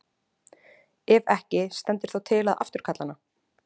Ef ekki, stendur þá til að afturkalla hana?